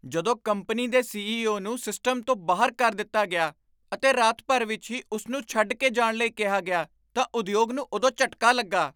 ਜਦੋਂ ਕੰਪਨੀ ਦੇ ਸੀ.ਈ.ਓ. ਨੂੰ ਸਿਸਟਮ ਤੋਂ ਬਾਹਰ ਕਰ ਦਿੱਤਾ ਗਿਆ ਅਤੇ ਰਾਤ ਭਰ ਵਿੱਚ ਹੀ ਉਸ ਨੂੰ ਛੱਡ ਕੇ ਜਾਣ ਲਈ ਕਿਹਾ ਗਿਆ ਤਾਂ ਉਦਯੋਗ ਨੂੰ ਉਦੋਂ ਝਟਕਾ ਲੱਗਾ ।